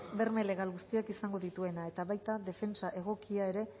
bat berme legal guztiak izango dituena eta baita defentsa egokia ere